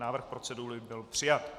Návrh procedury byl přijat.